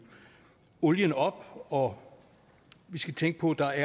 olien op og vi skal tænke på at der